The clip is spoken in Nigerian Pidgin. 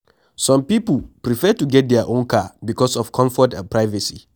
Some pipo prefer to get their own car because of comfort and privacy